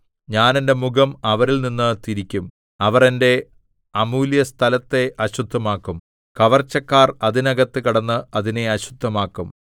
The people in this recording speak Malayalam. ഞാൻ എന്റെ മുഖം അവരിൽ നിന്നു തിരിക്കും അവർ എന്റെ അമൂല്യസ്ഥലത്തെ അശുദ്ധമാക്കും കവർച്ചക്കാർ അതിനകത്ത് കടന്ന് അതിനെ അശുദ്ധമാക്കും